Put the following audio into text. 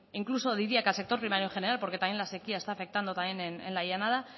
incluso diría que al sector primario en general porque también la sequia está afectando también en la llanada